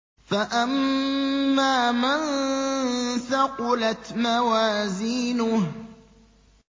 فَأَمَّا مَن ثَقُلَتْ مَوَازِينُهُ